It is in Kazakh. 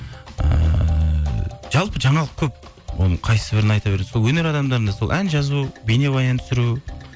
ііі жалпы жаңалық көп оның қайсібірін айта бересің сол өнер адамдарында сол ән жазу бейнебаян түсіру